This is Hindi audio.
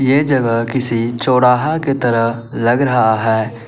ये जगह किसी चौराहा की तरह लग रहा है।